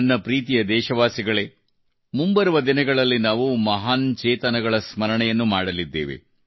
ನನ್ನ ಪ್ರೀತಿಯ ದೇಶವಾಸಿಗಳೇ ಮುಂಬರುವ ದಿನಗಳಲ್ಲಿ ನಾವು ಮಹಾನ್ ಚೇತನಗಳ ಸ್ಮರಣೆಯನ್ನು ಮಾಡಲಿದ್ದೇವೆ